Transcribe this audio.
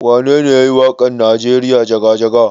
Wanene yayi wakan nijeriya jaga-jaga?